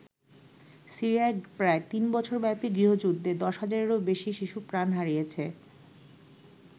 সিরিয়ায় প্রায় তিন বছরব্যাপী গৃহযুদ্ধে দশ হাজারেরও বেশি শিশু প্রাণ হারিয়েছে।